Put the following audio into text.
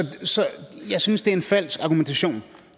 så jeg synes det er en falsk argumentation